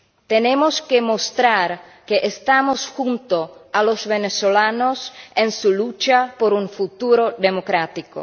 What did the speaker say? Tenemos que mostrar que estamos junto a los venezolanos en su lucha por un futuro democrático.